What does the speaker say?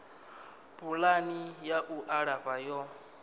pulani ya u alafha yo